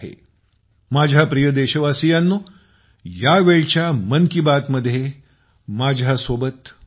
माझ्या प्रिय देशवासियांनो या वेळच्या मन की बात मध्ये माझ्यासोबत इतकेच